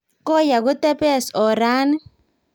Koi ako tepes orani